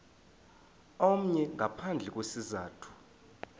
omnye ngaphandle kwesizathu